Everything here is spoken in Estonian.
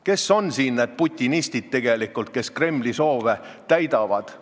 Kes on siin tegelikult need putinistid, kes Kremli soove täidavad?